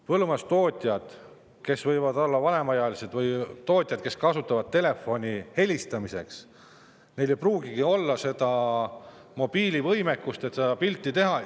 Põllumajandustootjad võivad olla vanemaealised, nad võivad kasutada telefoni vaid helistamiseks, neil ei pruugigi olla mobiilivõimekust, et seda pilti teha.